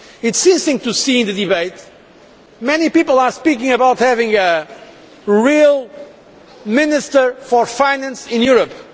It was interesting to see in the debate that many people are speaking about having a real minister for finance in Europe.